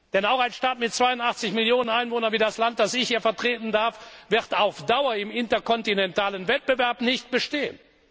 Denn auch ein Staat mit 82 Millionen Einwohnern wie das Land, das ich hier vertreten darf, wird auf Dauer im interkontinentalen Wettbewerb nicht bestehen.